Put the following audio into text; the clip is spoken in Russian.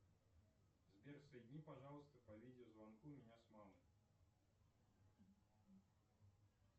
сбер соедини пожалуйста по видеозвонку меня с мамой